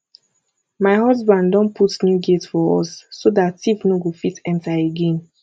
my husband don put new gate for us so dat thief no go fit enter again